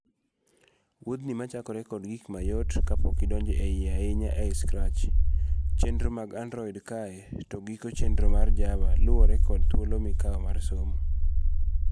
Wuodhni machakre kod gik mayot kapok idonjo eiye ahinya ei Scratch ,chenro mag Android kae to giko chenro mar Java luwore kod thuolo mikawo mar somo.